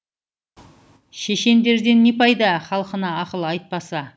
шешендерден не пайда халқына ақыл айтпаса